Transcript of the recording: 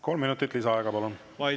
Kolm minutit lisaaega, palun!